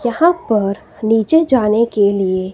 यहां पर नीचे जाने के लिए--